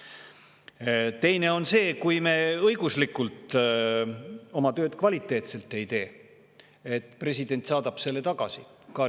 Teine on see, et kui me ei tee oma tööd õiguslikult kvaliteetselt, siis president saadab selle tagasi.